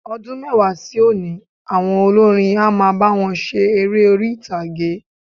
Ọdún mẹ́wàá sí òní, àwọn olórin á máa bá wọn ṣe eré orí-ìtàgé.